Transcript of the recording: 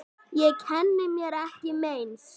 Ég kenni mér ekki meins.